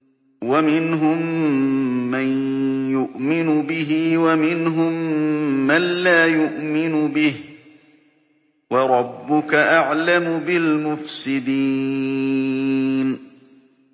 وَمِنْهُم مَّن يُؤْمِنُ بِهِ وَمِنْهُم مَّن لَّا يُؤْمِنُ بِهِ ۚ وَرَبُّكَ أَعْلَمُ بِالْمُفْسِدِينَ